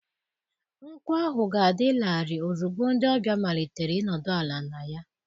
Nkwụ ahụ ga-adị larịị ozugbo ndị ọbịa malitere ịnọdụ ala na ya.